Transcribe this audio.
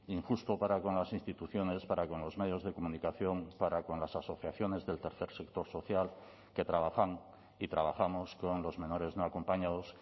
injusto para con las instituciones para con los medios de comunicación para con las asociaciones del tercer sector social que trabajan y trabajamos con los menores no acompañados